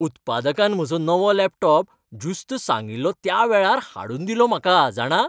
उत्पादकान म्हजो नवो लॅपटॉप ज्युस्त सांगिल्लो त्या वेळार हाडून दिलो म्हाका, जाणा!